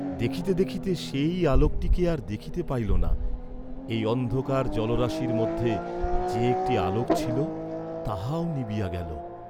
দেখিতে দেখিতে সেই আলোকটিকে আর দেখিতে পাইল না, এই অন্ধকার জলরাশির মধ্যে যে একটি আলোক ছিল, তাহাও যেন নিবিয়া গেল।